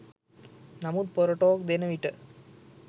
නමුත් පොර ටෝක් දෙන විට